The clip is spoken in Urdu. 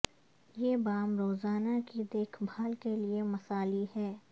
یہ بام روزانہ کی دیکھ بھال کے لئے مثالی ہے